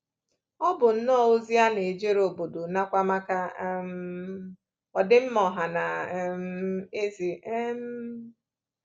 Ọ bụ nnọọ ozi a na-ejere obodo nakwa maka um ọdịmma ọha na um eze. um